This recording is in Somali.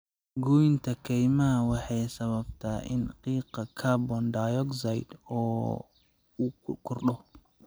Goynta kaymaha waxay sababtaa in qiiqa carbon dioxide uu kordho.